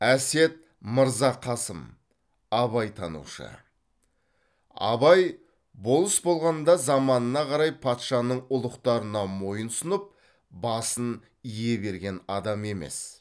әсет мырзақасым абайтанушы абай болыс болғанда заманына қарай патшаның ұлықтарына мойынсұнып басын ие берген адам емес